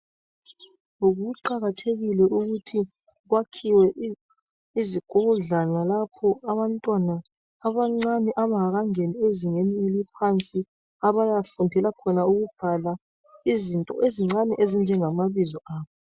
Kuqakathekile ukuthi kwakhiwe izikodlwana lapho abantwana abancane abangakangeni ezingeni eliphansi abayafundela khona ukubhala izinto ezincane ezinjengamabizo abo.